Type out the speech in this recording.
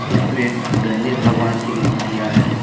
इसमें गणेश भगवान की मूर्तियां हैं।